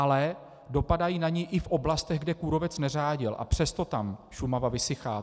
Ale dopadají na ni i v oblastech, kde kůrovec neřádil, a přesto tam Šumava vysychá.